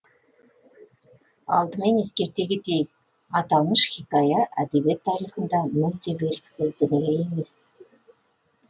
алдымен ескерте кетейік аталмыш хикая әдебиет тарихында мүлде белгісіз дүние емес